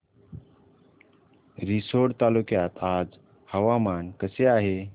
रिसोड तालुक्यात आज हवामान कसे आहे